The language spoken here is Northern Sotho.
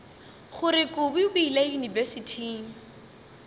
gore kobi o ile yunibesithing